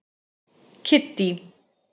Kiddý